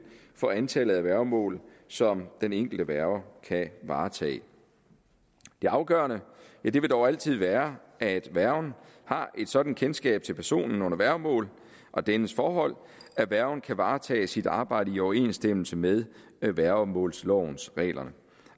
for antallet af værgemål som den enkelte værge kan varetage det afgørende vil dog altid være at værgen har et sådant kendskab til personen under værgemål og dennes forhold at værgen kan varetage sit arbejde i overensstemmelse med værgemålslovens regler